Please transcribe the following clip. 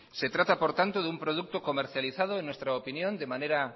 se trata por tanto de un producto comercializado en nuestra opinión de manera